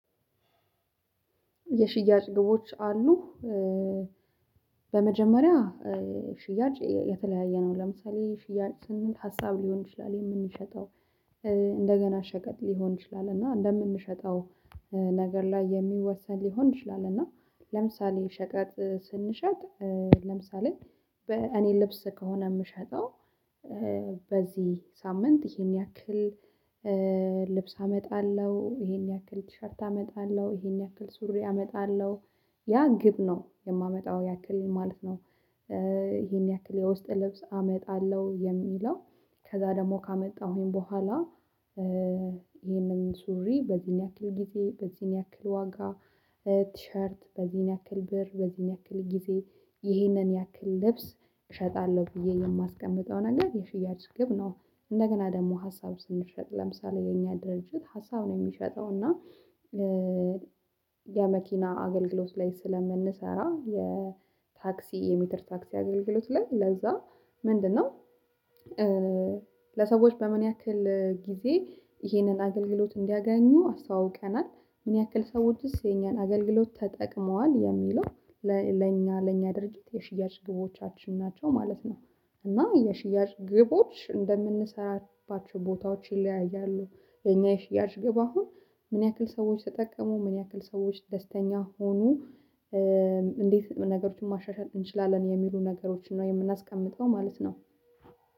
የሽያጭ ግቦች አሉ። በመጀመሪያ ሽያጭ የተለያየ ነው። ለምሳሌ ሽያጭ ስንል ሀሳብ ሊሆን ይችላል የምንሸጠው። እንደገና ሸቀጥ ሊሆን ይችላል እና እንደምንሸጠው ነገር ላይ የሚወሰን ሊሆን ይችላል። እና ለምሳሌ ሸቀጥ ስንሸጥ ለምሳሌ በእኔ ልብስ ከሆነ የምሸጠው በዚህ ሳምንት ይሄን ያክል ልብስ አመጣለሁ ይሄን ያክል ቲሸርት አመጣለሁ ይሄን ያክል ሱሪ አመጣለሁ ያ ግብ ነው። የማመጣው ያክል ማለት ነው። ይሄን ያክል የውስጥ ልብስ አመጣለሁ የሚለው ከዛ ደግሞ ካመጣሁኝ በኋላ ይሄንን ሱሪ በዚህን ያክል ጊዜ በዚህን ያክል ዋጋ ቲሸርት በዚህን ያክል ብር በዚህን ያክል ጊዜ ይህንን ያክል ልብስ እሸጣለሁ ብዬ የማስቀምጠውን አንገት የሽያጭ ግብ ነው። እንደገና ደግሞ ሀሳብ ስንሸጥ ለምሳሌ የኛ ድርጅት ሀሳብ ነው የሚሸጠው እና የመኪና አገልግሎት ላይ ስለምንሰራ የታክሲ የሜትር ታክሲ አገልግሎት ላይ ለዛ ምንድነው? ለሰዎች በምን ያክል ጊዜ ይሄንን አገልግሎት እንዲያገኙ አስተዋውቀናል? ምን ያክል ሰዎችስ የኛን አገልግሎት ተጠቅመዋል የሚለው? ለኛ ለኛ ድርጅት የሽያጭ ግቦቻችን ናቸው ማለት ነው። እና የሽያጭ ግቦች እንደምንሰራባቸው ቦታዎች ይለያያሉ። የኛ ሽያጭ ግብ አሁን ምን ያክል ሰዎች ተጠቀሙ ምን ያክል ሰዎች ደስተኛ ሆኖ? እንዴት ነገሮችን ማሻሻል እንችላለን የሚሉ ነገሮችን ነው የምናስቀምጠው ማለት ነው።